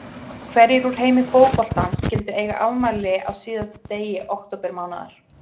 Hverjir úr heimi fótboltans skyldu eiga afmæli á síðasta degi októbermánaðar?